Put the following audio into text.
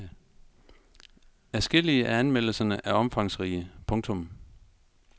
Adskillige af anmeldelserne er omfangsrige. punktum